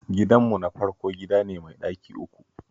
Gidanmu na farko gida ne mai ɗaki uku